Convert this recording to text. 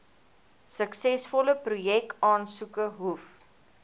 suksesvolle projekaansoeke hoef